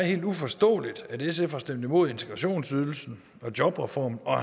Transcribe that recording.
helt uforståeligt for at sf har stemt imod integrationsydelsen og jobreformen og